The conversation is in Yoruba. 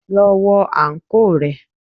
Lọ wọ àǹkóò rẹ.